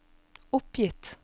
oppgitt